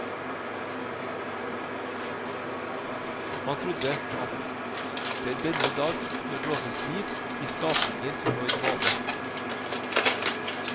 Man trodde at det denne dag kunne blåses liv i skapninger som lå i dvale.